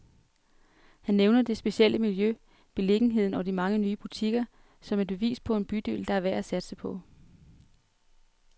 Han nævner det specielle miljø, beliggenheden og de mange nye butikker, som et bevis på en bydel, der er værd at satse på.